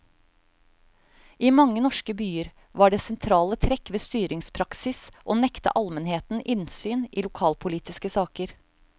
I mange norske byer var det sentrale trekk ved styringspraksis å nekte almenheten innsyn i lokalpolitiske saker.